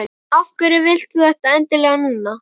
Af hverju vilt þú þetta endilega núna?